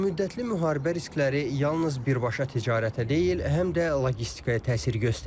Uzunmüddətli müharibə riskləri yalnız birbaşa ticarətə deyil, həm də logistikaya təsir göstərir.